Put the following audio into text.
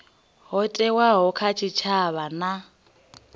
ho thewaho kha tshitshavha na